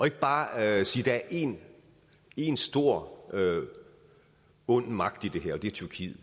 ikke bare sige at der er en en stor ond magt i det her og det er tyrkiet